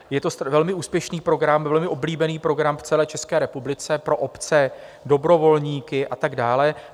Je to velmi úspěšný program, velmi oblíbený program v celé České republice pro obce, dobrovolníky a tak dále.